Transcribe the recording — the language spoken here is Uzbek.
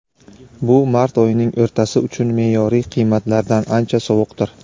bu mart oyining o‘rtasi uchun me’yoriy qiymatlardan ancha sovuqdir.